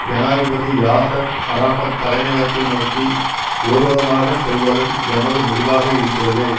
ஜனாதிபதி Yasser Arafat தலைமையகத்தை நோக்கி ஊர்வலமாகச் செல்வதும் எமது முடிவாக இருக்கிறதது